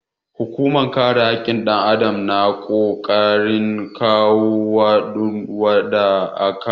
Hukunmar kare hakkin ɗan adam ta na ƙoƙarin kwato wa duk wanda aka yi wa fyaɗe hakkin sa